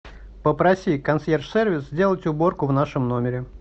попроси консьерж сервис сделать уборку в нашем номере